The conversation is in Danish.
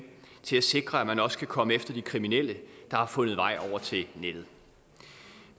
til at sikre at man også kan komme efter de kriminelle der har fundet vej over til nettet